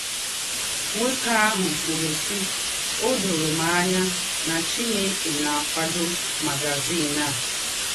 Nwókè àhụ̀ kwùrù, sì ‘ Ọ dòrò m ànyà nà Chìnèkè na - àkwàdò magazìn à. ’